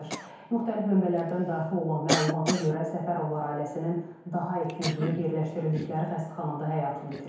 Müxtəlif mənbələrdən daxil olan məlumata görə Səfərovlar ailəsinin daha iki üzvü yerləşdirildikləri xəstəxanada həyatını itirib.